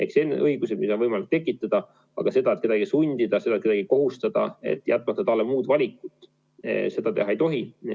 Sellised õigused on võimalik tekitada, aga kedagi sundida, kedagi kohustada, jätmata talle muud valikut, ei tohi.